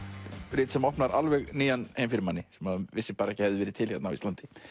rit sem opnar alveg nýjan heim fyrir manni sem maður vissi ekki að hefði verið til hérna á Íslandi